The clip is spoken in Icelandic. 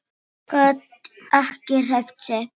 Gat ekki hreyft sig.